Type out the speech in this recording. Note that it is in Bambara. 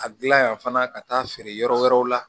A gilan yan fana ka taa feere yɔrɔ wɛrɛw la